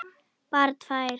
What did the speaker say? Bara tvær.